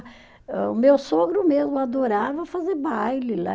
O meu sogro mesmo adorava fazer baile lá.